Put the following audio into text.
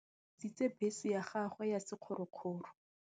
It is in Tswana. Malome o rekisitse bese ya gagwe ya sekgorokgoro.